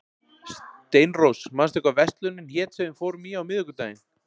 Steinrós, manstu hvað verslunin hét sem við fórum í á miðvikudaginn?